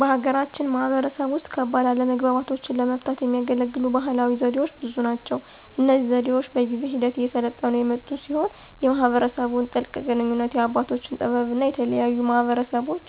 በሀገራችን ማህበረሰብ ውስጥ ከባድ አለመግባባቶችን ለመፍታት የሚያገለግሉ ባህላዊ ዘዴዎች ብዙ ናቸው። እነዚህ ዘዴዎች በጊዜ ሂደት እየሰለጠኑ የመጡ ሲሆን የማህበረሰቡን ጥልቅ ግንኙነት፣ የአባቶችን ጥበብ እና የተለያዩ ማህበረሰቦች